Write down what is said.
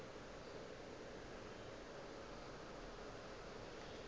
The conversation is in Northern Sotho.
le ge e le gore